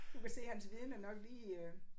Du kan se hans viden er nok lige øh